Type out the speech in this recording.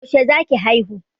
Yaushe za ki haihu?